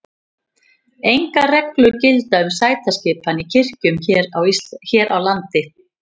Engar reglur gilda um sætaskipan í kirkjum hér á landi.